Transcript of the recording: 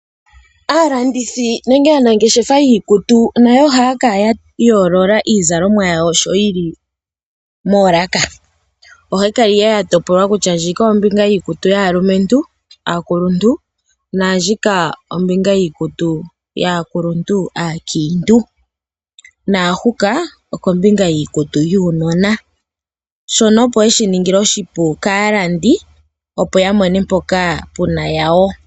Aalandithi nenge aanangeshefa yiikutu, oha ya kala ya yoolola iizalomwa yawo sho yi li moolaka. Oha yi kala ihe ya topolwa kutya ndjika ombinga yiikutu yaalumentu aakuluntu, naandjika ombinga yiikutu yaakuluntu, aakiintu. Naahuka, okombinga yiikutu yuunona. Shono opo ye shi ninge oshipu kaalandi, opo ya mone mpoka puna yawo.